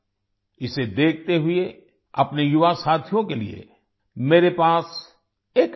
इसे देखते हुए अपने युवा साथियों के लिए मेरे पास एक आईडीईए है